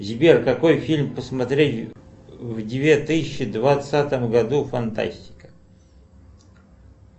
сбер какой фильм посмотреть в две тысячи двадцатом году фантастика